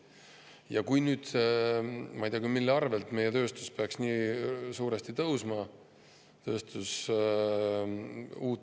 Ma küll ei tea, mille abil meie tööstus peaks nii suuresti kasvama.